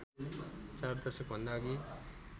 चार दशक भन्दाअघि